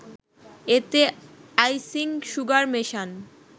এতে icing sugar মেশান